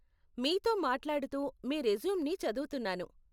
మీతో మాట్లాడుతూ మీ రెస్యూమ్‌ని చదువుతున్నాను.